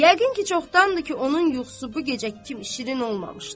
Yəqin ki, çoxdandır ki, onun yuxusu bu gecə kimi şirin olmamışdı.